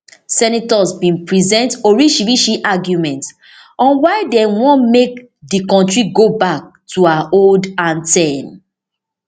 senators bin present orishirishi arguments on why dem want make di kontri go back to her old anthem